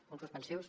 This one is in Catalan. punts suspensius